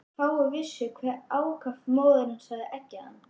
Fáir vissu hve ákaft móðir hans hafði eggjað hann.